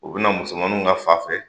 U bi na musomanninw ka fa fɛ